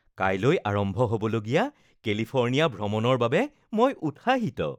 কাইলৈ আৰম্ভ হ'বলগীয়া কেলিফৰ্ণিয়া ভ্ৰমণৰ বাবে মই উৎসাহিত